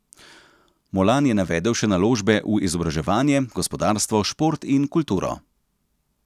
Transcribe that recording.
Molan je navedel še naložbe v izobraževanje, gospodarstvo, šport in kulturo.